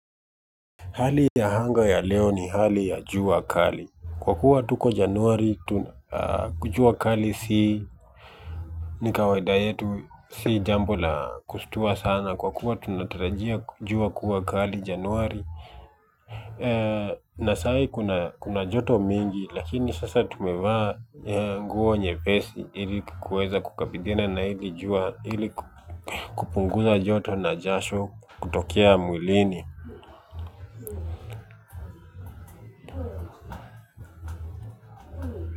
Hali ya anga ya leo ni hali ya jua kali. Kwa kuwa tuko januari, jua kali si. Ni kawaida yetu si jambo la kushtua sana. Kwa kuwa tunatarajia jua kuwa kali januari. Na saa hii kuna joto mingi. Lakini sasa tumevaa nguo nyepesi ili kukabiliana na hili jua ili kupunguza joto na jasho kutokea mwilini.